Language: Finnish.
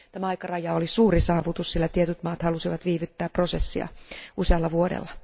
Tämä aikaraja oli suuri saavutus, sillä tietyt maat halusivat viivyttää prosessia usealla vuodella.